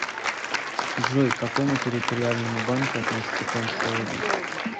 джой к какому территориальному банку относится томская область